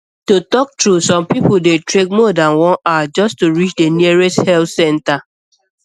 to talk true some people dey trek more than one hour just to reach the nearest health center